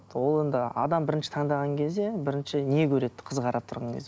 ол енді адам бірінші таңдаған кезде бірінші не көреді қыз қарап тұрған кезде